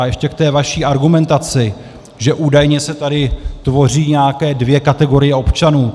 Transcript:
A ještě k té vaší argumentaci, že údajně se tady tvoří nějaké dvě kategorie občanů.